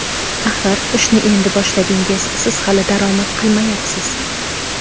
Axir ishni endi boshladingiz, siz hali daromad qilmayapsiz.